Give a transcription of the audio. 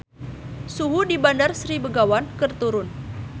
Suhu di Bandar Sri Begawan keur turun